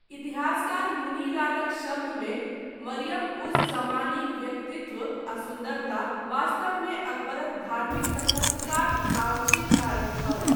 इतिहासकार मुनि लालक शब्दमे 'मरियम उज जमानीक व्यक्तित्व आ सुन्दरता वास्तवमे अकबरक धार्मिक तटस्थताक आंशिक कारक छल।'